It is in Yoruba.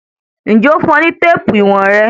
Ǹjẹ́ o fún ọ ní téèpù íwọ̀n rẹ?